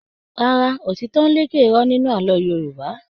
Rárá, òtítọ́ ń lékè irọ́ nínú àlọ́ Yorùbá.